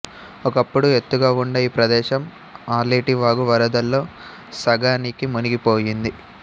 ఒకప్పుడు ఎత్తుగావుండే ఈ ప్రదేశం ఆలేటివాగు వరదల్లో సగానికి మునిగిపోయింది